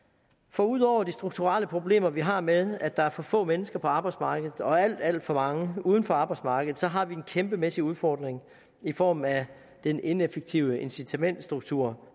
for ud over de strukturelle problemer vi har med at der er for få mennesker på arbejdsmarkedet og alt alt for mange uden for arbejdsmarkedet så har vi en kæmpemæssig udfordring i form af den ineffektive incitamentsstruktur